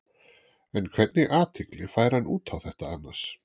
En hvernig athygli fær hann út á þetta annars?